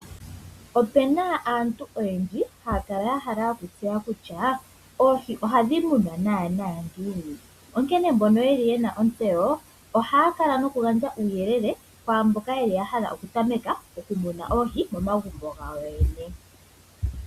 Opena aantu oyendji haya kala ya hala okutseya kutya oohi ohadhi munwa naana ngiini. Onkene mbono yeli yena ontseyo ohaya kala nokugandja uuyelele kwaamboka yeli ya hala oku tameka oku muna oohi momagumbo gawo yoyene.